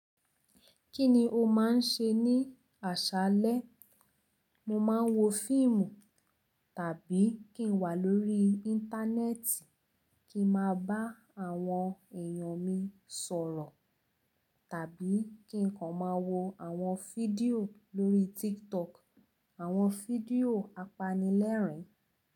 Kí ni o máa ń ṣe ní àṣaálẹ́? Mo máa ń wo fíìmù tàbí kí n wà lórí Íńtánẹ́ẹ̀tì kí n máa bá àwọn èèyàn mi sọ̀rọ̀ tàbí kí n kan máa wo àwọn fídíò lórí TikTok, àwọn fídíò apanilẹ́rìn-ín.